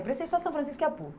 Eu prestei só São Francisco e a PUC.